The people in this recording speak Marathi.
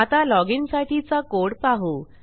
आता loginसाठीचा कोड पाहू